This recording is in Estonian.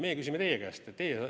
Meie küsime teie käest.